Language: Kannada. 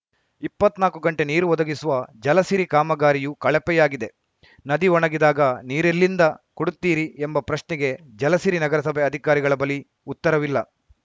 ಇಪ್ಪತ್ನಾಕು ಗಂಟೆ ನೀರು ಒದಗಿಸುವ ಜಲಸಿರಿ ಕಾಮಗಾರಿಯೂ ಕಳಪೆಯಾಗಿದೆ ನದಿ ಒಣಗಿದಾಗ ನೀರೆಲ್ಲಿಂದ ಕೊಡುತ್ತೀರಿ ಎಂಬ ಪ್ರಶ್ನೆಗೆ ಜಲಸಿರಿ ನಗರಸಭೆ ಅಧಿಕಾರಿಗಳ ಬಳಿ ಉತ್ತರವಿಲ್ಲ